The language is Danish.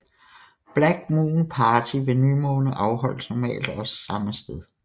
Black Moon Party ved nymåne afholdes normalt også samme sted